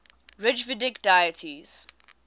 rigvedic deities